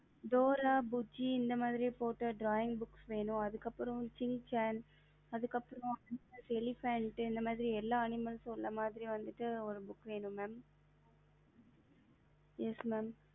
dora buchi இந்தமாரி drawing போட்ட book வேணும்அதுக்கு அப்புறம் shin chan அதுக்கு அப்புறம் elephant இந்தமாரி எல்லா animal போட்ட மாதிரி ஒரு book வேணும் mam